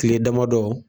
Kile damadɔ